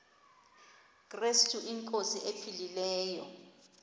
krestu inkosi ephilileyo